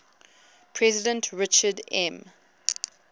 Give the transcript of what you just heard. president richard m